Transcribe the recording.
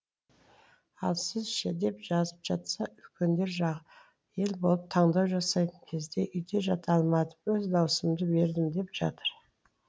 ал сіз ше деп жазып жатса үлкендер жағы ел болып таңдау жасайтын кезде үйде жата алмадым өз дауысымды бердім деп жатыр